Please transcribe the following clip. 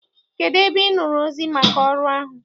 Kedụ ebe Ị nụrụ ozi maka ọrụ ahụ?